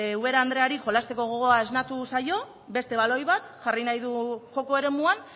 ubera andereari jolasteko gogoa esnatu zaio beste baloi bat jarri nahi du joko eremuan